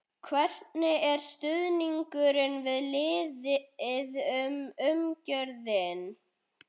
Hvernig er stuðningurinn við liðið og umgjörðin?